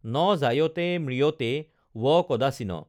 ন জায়তে মৃয়তে ৱ কদাশ্বিন